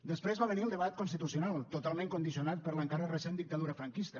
després va venir el debat constitucional totalment condicionat per l’encara recent dictadura franquista